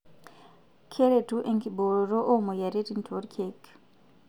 Keretu enkibooroto oo moyiaritin toorkiek.